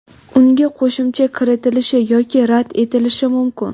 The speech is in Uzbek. unga qo‘shimcha kiritilishi yoki rad etilishi mumkin.